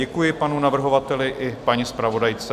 Děkuji panu navrhovateli i paní zpravodajce.